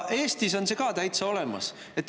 Eestis on see ka täitsa olemas.